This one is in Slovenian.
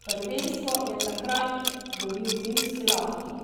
Prvenstvo je takrat dobil finski Lahti.